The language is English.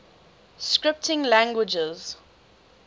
scripting languages